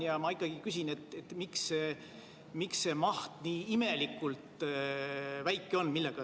Ja ma ikkagi küsin, miks see maht nii imelikult väike on.